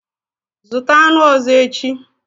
Zụta aṅụ ọzọ echi.